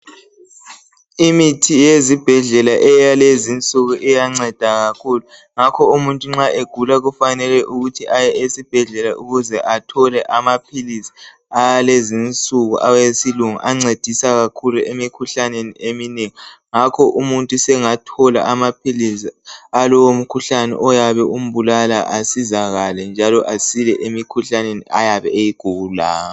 Imithi yezibhedlela yalezi insuku iyanceda kakhulu ngakho umuntu nxa egula kufanele aye esibhedlela athole amaphilisi esilungu ancedisa kakhulu emikhuhlaneni eminengi. Umuntu sengathola amaphilisi alowo mkhuhlane ombulalayo asizakale njalo asile.